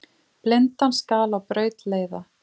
Blindan skal á braut leiða.